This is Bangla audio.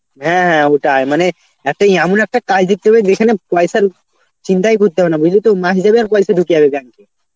হ্যাঁ হ্যাঁ ওটাই মানে একটা এমন একটা কাজ দেখতে হবে যেখানে পয়সার চিন্তাই করতে হবে না বুঝলি তো মাস যাবে আর পয়সা ঢুকে যাবে bank এ.